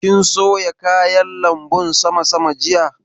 Kin soya kayan lanbun sama sama jiya?